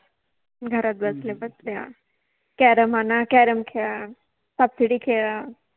घरात बसल्या बसल्या कॅरम आणा कॅरम खेळा, सापसिडि खेळा